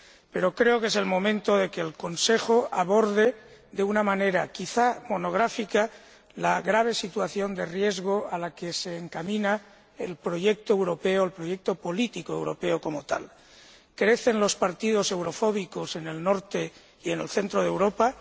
Pero creo que es el momento de que el Consejo aborde, de una manera quizá monográfica, la grave situación de riesgo a la que se encamina el proyecto político europeo como tal crecen los partidos eurofóbicos en el norte y en el centro de Europa